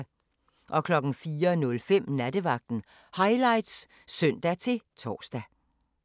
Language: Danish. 04:05: Nattevagten Highlights (søn-tor)